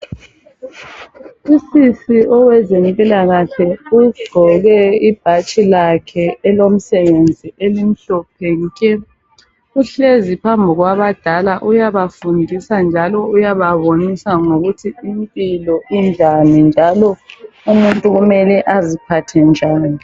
Usisi owezempilakahle ugqoke ibhatshi lakhe elomsebenzi elimhlophe nke, uhlezi phambi kwabadala uyabafundisa njalo uyababonisa ngokuthi impilo injani, njalo umuntu kumele aziphathe njani.